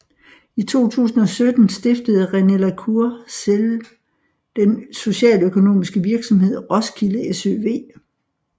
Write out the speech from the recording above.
I 2017 stiftede René la Cour Sell den socialøkonomiske virksomhed Roskilde SØV